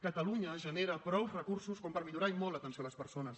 catalunya genera prou recursos per millorar i molt l’atenció a les persones